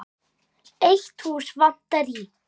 Eitt hús vantar í